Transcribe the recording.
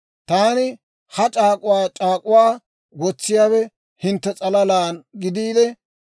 Taani ha c'aak'uwaa mino k'aala c'aak'uwaa uda wotsiyaawe hintte s'alalaanna gidiide,